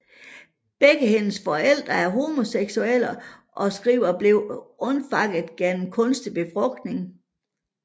Begge hendes forældre er homoseksuelle og Skriver blev undfanget gennem kunstig befrugtning